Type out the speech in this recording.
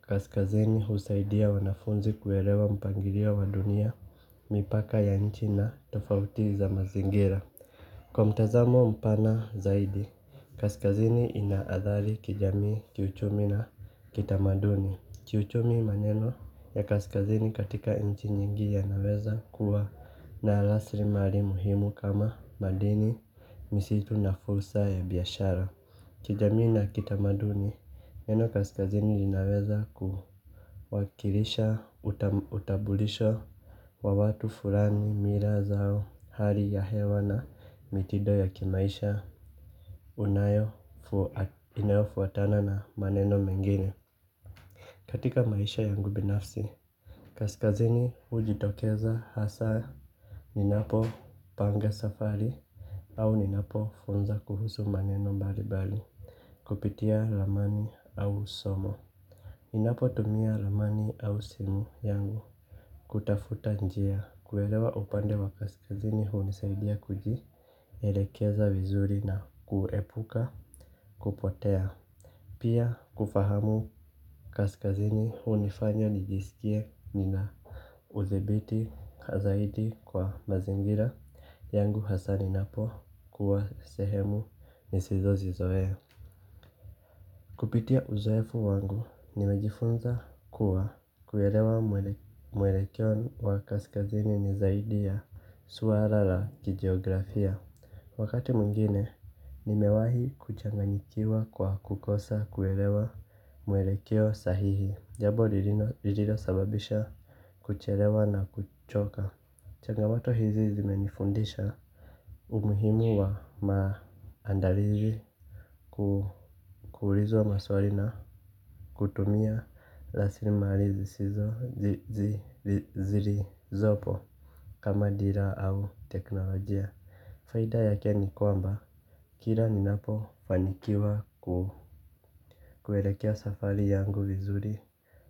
kaskazini husaidia wanafunzi kuelewa mpangirio wa dunia mipaka ya nchi na tofauti za mazingira. Kwa mtazamo mpana zaidi, kaskazini ina adhali kijamii kiuchumi na kitamaduni. Kiuchumi maneno ya kaskazini katika inchi nyingi yanaweza kuwa na lasrimali muhimu kama madini misitu na fursa ya biashara. Kijamii na kitamaduni eneo kaskazini linaweza kuwakilisha utabulisho wa watu fulani mila zao hali ya hewa na mitido ya kimaisha unayo inayo fuatana na maneno mengine. Katika maisha yangu binafsi kaskazini hujitokeza hasa. Ninapo panga safari au ninapo funza kuhusu maneno mbalibali. Kupitia ramani au somo inapo tumia ramani au simu yangu. Kutafuta njia kuelewa upande wa kaskazini hunisaidia kuji elekeza vizuri na kuepuka kupotea. Pia kufahamu kaskazini hunifanya nijisikie nina uzibiti kazaidi kwa mazingira yangu hasaa ni napo kuwa sehemu nisizo zizoe. Kupitia uzoefu wangu, nimejifunza kuwa kuelewa mwelekeo wa kaskazini ni zaidi ya suala la kijeografia. Wakati mwingine, nimewahi kuchanganyikiwa kwa kukosa kuwelewa mwelekeo sahihi. Jabo lililo sababisha kuchelewa na kuchoka. Changamato hizi zime nifundisha umuhimu wa maandalizi. Ku kuurizwa maswali na kutumia raslimali zi sizo zili zopo kama dira au teknolojia. Faida ya ke ni kwamba kila ni napo fanikiwa kuherekea safari yangu vizuri.